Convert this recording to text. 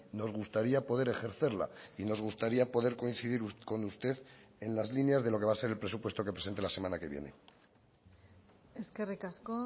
nos gustaría poder ejercerla y nos gustaría poder coincidir con usted en las líneas de lo que va a ser el presupuesto que presente la semana que viene eskerrik asko